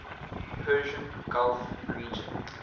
persian gulf region